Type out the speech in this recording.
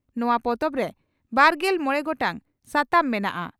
ᱱᱚᱣᱟ ᱯᱚᱛᱚᱵᱨᱮ ᱵᱟᱨᱜᱮᱞ ᱢᱚᱲᱮ ᱜᱚᱴᱟᱝ ᱥᱟᱛᱟᱢ ᱢᱮᱱᱟᱜᱼᱟ ᱾